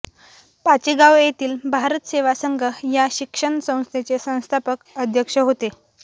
पाचेगाव येथील भारत सेवा संघ या शिक्षण संस्थेचे संस्थापक अध्यक्ष होते